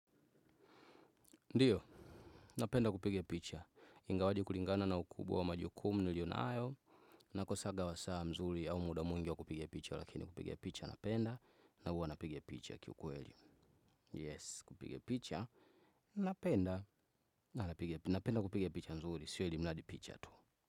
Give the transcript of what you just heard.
Ndiyo, napenda kupiga picha. Ingawaje kulingana na ukubwa wa majukumu nilio nayo. Nakosanga saa nzuri au muda mwingi wa kupiga picha. Lakini kupiga picha napenda. Na huwa napiga picha kiukweli. Yes, kupige picha. Napenda. Napenda kupige picha mzuri. Siyo ilimradi picha tu.